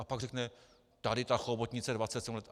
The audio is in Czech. A pak řekne tady ta chobotnice, 27 let.